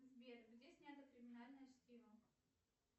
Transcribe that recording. сбер где снято криминальное чтиво